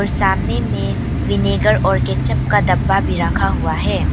सामने में विनेगर और केचप का डब्बा भी रखा हुआ है।